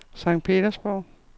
Sankt Petersborg